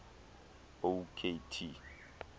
o k t